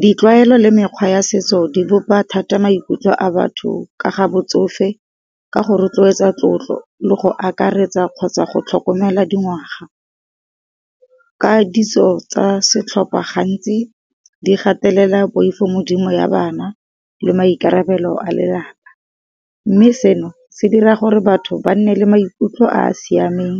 Di tlwaelo le mekgwa ya setso di bopa thata maikutlo a batho ka ga botsofe, ka go rotloetsa tlotlo, le go akaretsa kgotsa, go tlhokomela dingwaga. Katiso tsa setlhopha gantsi di gatelela poifogodimo ya bana le maikarabelo a lelapa, mme seno se dira gore batho ba nne le maikutlo a a siameng